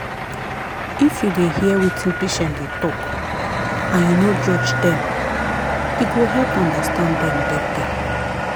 if you dey hear wetin patient dey talk and you no judge them ego help understand them better.